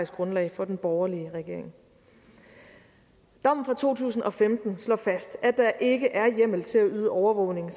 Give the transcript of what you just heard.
grundlag for den borgerlige regering dommen fra to tusind og femten står fast at der ikke er hjemmel til at yde overvågning